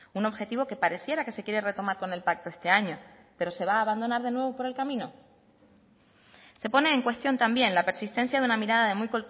un objetivo que pareciera que se quiere retomar con el pacto este año pero se va a abandonar de nuevo por el camino se pone en cuestión también la persistencia de una mirada de muy